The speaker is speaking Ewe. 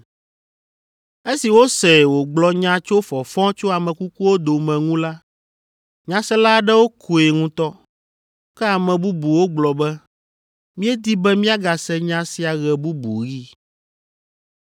Esi wosee wògblɔ nya tso fɔfɔ tso ame kukuwo dome ŋu la, nyasela aɖewo koe ŋutɔ, ke ame bubuwo gblɔ be, “Míedi be míagase nya sia ɣe bubu ɣi”